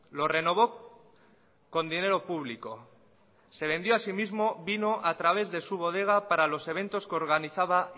lo renovó con dinero público se vendió a sí mismo vino a través de su bodega para los eventos que organizaba